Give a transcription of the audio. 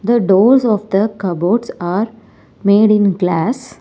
The doors of the cupboards are made in glass.